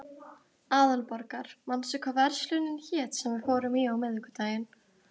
Aðalborgar, manstu hvað verslunin hét sem við fórum í á mánudaginn?